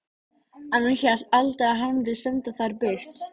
En hún hélt aldrei að hann mundi senda þær burt.